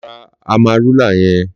Lò rà àmárúlá yèn